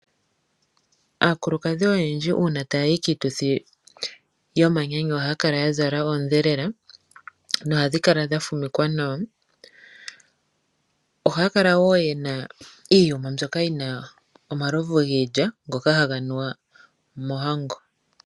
Aakulukadhi oyendji uuna tayayi kiituthi yomanyanyu ohaya kala yazala oondhelela nohadhi kala dha fumikwa nawa ohaya kala wo yena iiyuma mbyoka yina omalovu giilya ngoka haga nuwa mohango.